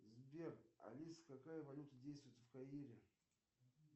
сбер алиса какая валюта действует в каире